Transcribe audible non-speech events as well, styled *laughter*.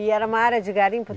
E era uma área de garimpo *unintelligible*